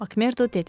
Makmerdo dedi.